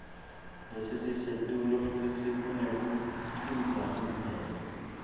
lelisetulu futsi kunekuticambela